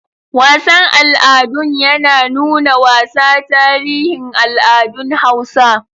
Wasan al'adun ya nuna wasa tarihin al'adun Hausa.